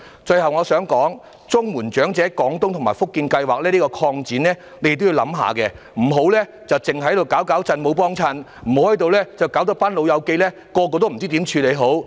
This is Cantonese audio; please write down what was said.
最後，我想說，就綜援長者廣東及福建省養老計劃，政府也應作仔細周詳的考慮，不要只是"搞搞震，沒幫襯"，而令有關長者不知如何處理。